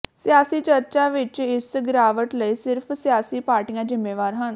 ਸਿਆਸੀ ਚਰਚਾ ਵਿਚ ਇਸ ਗਿਰਾਵਟ ਲਈ ਸਿਰਫ ਸਿਆਸੀ ਪਾਰਟੀਆਂ ਜ਼ਿੰਮੇਵਾਰ ਹਨ